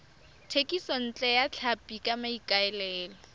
thekisontle ya tlhapi ka maikaelelo